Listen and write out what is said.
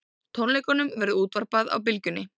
Tónleikunum verður útvarpað á Bylgjunni